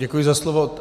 Děkuji za slovo.